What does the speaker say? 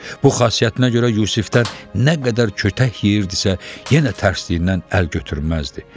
Bu xasiyyətinə görə Yusifdən nə qədər kötək yeyirdisə, yenə tərsliyindən əl götürməzdi.